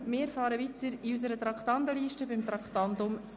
Wir fahren weiter auf unserer Traktandenliste bei Traktandum 57: «